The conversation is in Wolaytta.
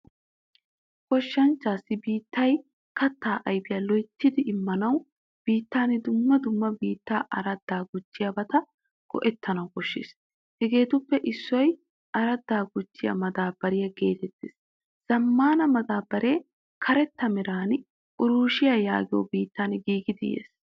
Goshshanchchasi biittay kattaa ayfiyaa loyttidi immanawu biittan dumma dumma biittaa arada gujiyabata go'ettanawu koshshees. Hagaappe issoy aradda gujjiyaa madabariyaa getettees. Zamaana madabare karetta meran reushiya yaagiyo biittan giigidi yees.